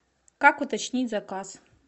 как уточнить заказ